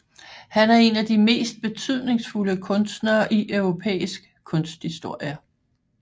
Han er en af de mest betydningsfulde kunstnere i europæisk kunsthistorie